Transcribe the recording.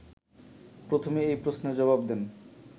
প্রথমেই এ প্রশ্নের জবাব দেন